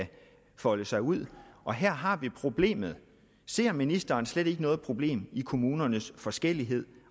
folde sig ud og her har vi problemet ser ministeren slet ikke noget problem i kommunernes forskellighed